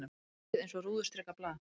Loftið eins og rúðustrikað blað.